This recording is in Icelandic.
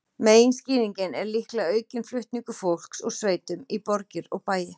Meginskýringin er líklega aukinn flutningur fólks úr sveitum í borgir og bæi.